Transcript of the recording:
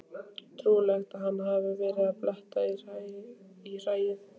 Trúlegt að hann hafi verið að bletta í hræið.